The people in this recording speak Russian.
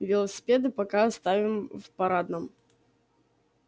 велосипеды пока оставим в парадном